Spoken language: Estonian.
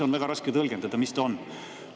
On väga raske tõlgendada, mis see on.